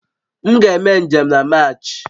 M ga-eme njem na Maachi